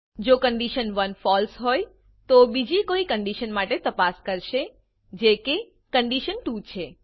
જો condition one false હોય તો તે બીજી કોઈ કંડીશન માટે તપાસ કરશે જે કે કન્ડિશન2 છે